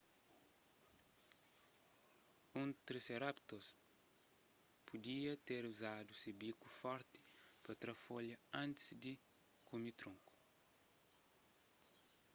un triceratops pudia ter uzadu se biku forti pa tra folha antis di kume tronku